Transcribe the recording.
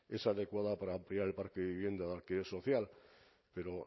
es adecuada para ampliar el parque de vivienda de alquiler social pero